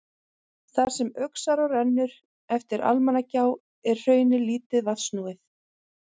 Þar sem Öxará rennur eftir Almannagjá er hraunið lítið vatnsnúið.